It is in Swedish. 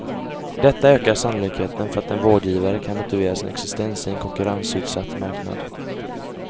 Detta ökar sannolikheten för att en vårdgivare kan motivera sin existens i en konkurrensutsatt marknad.